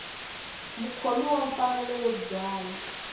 mukhomi wa mfanelo yo byala